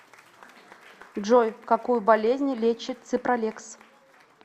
джой какую болезнь лечит ципралекс